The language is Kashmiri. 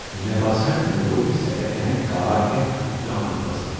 مے٘ باسان مے٘ كو٘ر یہِ سیكنڈ ہینڈ كار ہیتھ اكھ جان فٲصلہٕ ۔